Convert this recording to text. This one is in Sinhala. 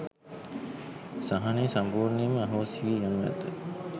සහනය සම්පූර්ණයෙන්ම අහෝසි වී යනු ඇත.